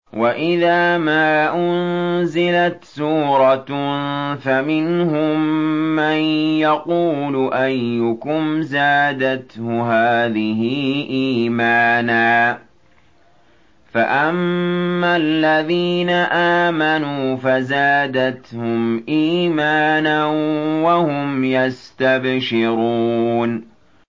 وَإِذَا مَا أُنزِلَتْ سُورَةٌ فَمِنْهُم مَّن يَقُولُ أَيُّكُمْ زَادَتْهُ هَٰذِهِ إِيمَانًا ۚ فَأَمَّا الَّذِينَ آمَنُوا فَزَادَتْهُمْ إِيمَانًا وَهُمْ يَسْتَبْشِرُونَ